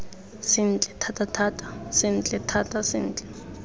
sentle thatathata sentle thata sentle